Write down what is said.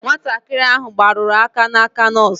Nwatakịrị ahụ gbarụrụ aka n'aka nọọsụ.